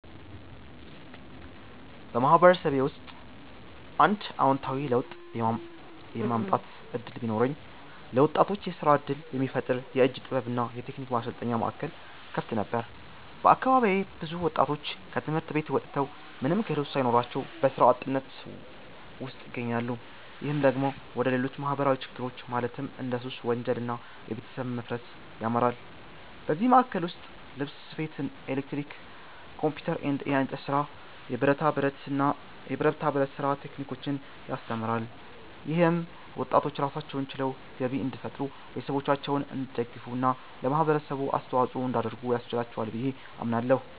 በማህበረሰቤ ውስጥ አንድ አዎንታዊ ለውጥ የማምጣት እድል ቢኖረኝ፣ ለወጣቶች የስራ እድል የሚፈጥር የእጅ ጥበብ እና የቴክኒክ ማሰልጠኛ ማዕከል እከፍት ነበር። በአካባቢዬ ብዙ ወጣቶች ከትምህርት ቤት ወጥተው ምንም ክህሎት ሳይኖራቸው በስራ አጥነት ውስጥ ይገኛሉ። ይህ ደግሞ ወደ ሌሎች ማህበራዊ ችግሮች ማለትም እንደ ሱስ፣ ወንጀል እና የቤተሰብ መፋረስ ያመራል። በዚህ ማዕከል ውስጥ ልብስ ስፌት፣ ኤሌክትሪክ፣ ኮምፒውተር፣ የእንጨት ስራ፣ የብረታ ብረት ስራ ቴክኒኮችን ያስተምራል። ይህም ወጣቶች ራሳቸውን ችለው ገቢ እንዲፈጥሩ፣ ቤተሰቦቻቸውን እንዲደግፉ እና ለማህበረሰቡ አስተዋጽኦ እንዲያደርጉ ያስችላቸዋል ብዬ አምናለሁ።